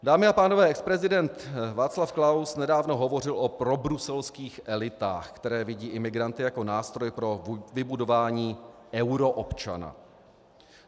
Dámy a pánové, exprezident Václav Klaus nedávno hovořil o probruselských elitách, které vidí imigranty jako nástroj pro vybudování euroobčana.